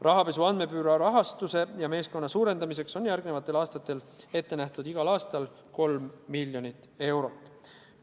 Rahapesu andmebüroo rahastuse ja meeskonna suurendamiseks on järgmistel aastatel ette nähtud 3 miljonit eurot aasta kohta.